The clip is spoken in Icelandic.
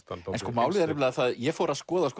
málið er að ég fór að skoða